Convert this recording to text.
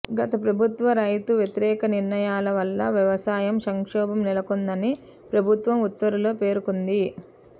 గత ప్రభుత్వ రైతు వ్యతిరేక నిర్ణయాల వల్ల వ్యవసాయ సంక్షోభం నెలకొందని ప్రభుత్వం ఉత్తర్వుల్లో పేర్కొంది